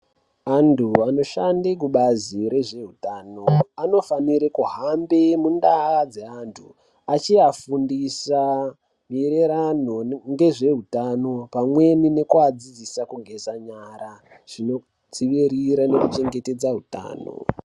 Antu anoshande kubazi rezveutano anofanire kuhambe mundau dzaantu achiafundisa maererano ngezveutano pamweni nekuadzidzisa kugeza nyara. Zvinodziirira nekuchengetedze utano.